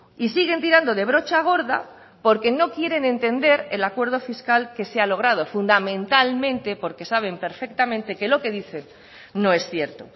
y siguen tirando de brocha gorda porque no quieren entender el acuerdo fiscal que ha logrado fundamentalmente porque saben perfectamente que lo que dicen no es cierto